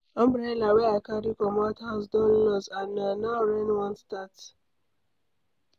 Umbrella wey I carry comot house don loss and na now rain wan start.